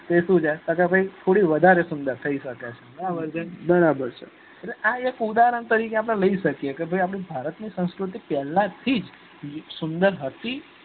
એને શું છે કે ભાઈ અત્યારે થોડી વધારે સુંદર થઇ સકે બરોબર છે આ એક ઉદારણ તરીકે લઇ શકીએ કે ભાઈ અપડા ભારત ની સંસ્કુતિ પેહલા થીજ સુંદર હતી